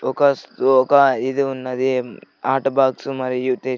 ఒక ఒక ఇది ఉన్నది ఆట బాక్స్ మరియు.